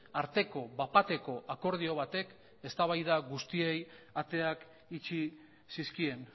arteko bat bateko akordio batek eztabaida guztiei ateak itxi zizkien